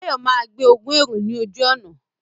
Báyọ̀ máa gbé ogún èrò ní ojú ọ̀nà